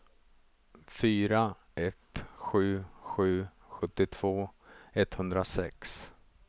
fyra ett sju sju sjuttiotvå etthundrasex